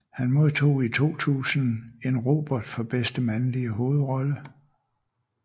Han modtog i 2000 en Robert for bedste mandlige hovedrolle